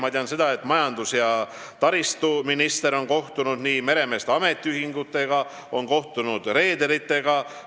Ma tean, et majandus- ja taristuminister on kohtunud meremeeste ametiühingutega, on kohtunud reederitega.